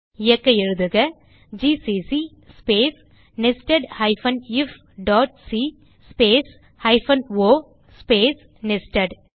இயக்க எழுதுக GCC space nested ifசி space hyphen o space nested